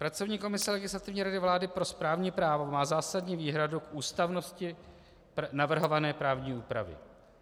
Pracovní komise Legislativní rady vlády pro správní právo má zásadní výhradu k ústavnosti navrhované právní úpravy.